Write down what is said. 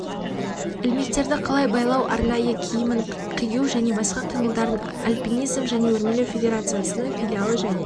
ілмектерді қалай байлау арнайы киімін қию және басқа қимылдарын апинизм және өрмелеу федерациясының филиалы және